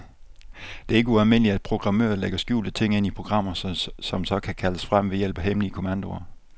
Det er ikke ualmindeligt, at programmører lægger skjulte ting ind i programmer, som så kan kaldes frem ved hjælp af hemmelige kommandoer.